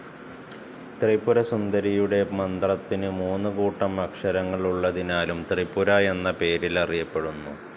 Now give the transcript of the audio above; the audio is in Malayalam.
ത്രിപുര സുന്ദരിയുടെ മന്ത്രത്തിന് മൂന്ന് കൂട്ടം അക്ഷരങ്ങൾ ഉള്ളതിനാലും ത്രിപുര എന്ന പേരിലറിയപ്പെടുന്നു.